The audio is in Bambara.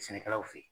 Sɛnɛkɛlaw fe ye